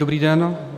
Dobrý den.